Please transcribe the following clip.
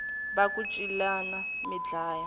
va ku celani mi dlaya